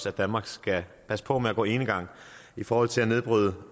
at danmark skal passe på med at gå enegang i forhold til at nedbryde